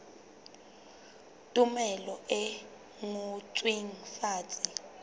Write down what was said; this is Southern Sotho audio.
tumello e ngotsweng fatshe e